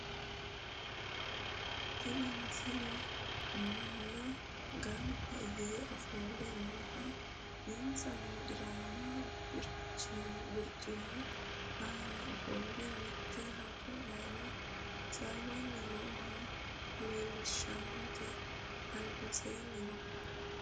tini misile manna ganba yee ofolle nooha insano dirame barcimu aana ofolle mitte haja aana hasaawanni nooha leellishshannote albaansaanino no